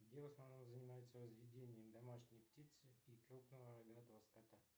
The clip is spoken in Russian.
где в основном занимаются разведением домашней птицы и крупного рогатого скота